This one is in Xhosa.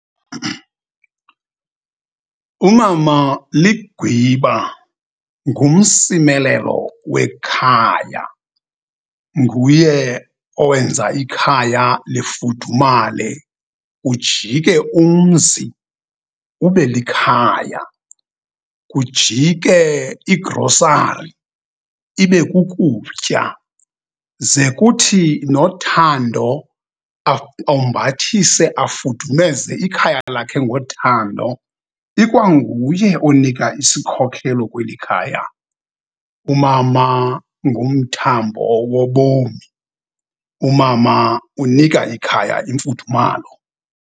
Umama ligwiba, ngumsimelelo wekhaya. Nguye owenza ikhaya lifudumale, ujike umzi ube likhaya, kujike igrosari ibe kukutya, ze kuthi nothando ombathise, afudumeze ikhaya lakhe ngothando. Ikwanguye onika isikhokelo kweli khaya. Umama ngumthambo wobomi, umama unika ikhaya imfudumalo.